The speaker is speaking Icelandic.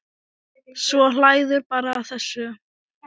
Svo hlærðu bara að þessu!